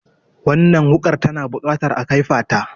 Wannan wuƙar tana buƙatar a kaifata.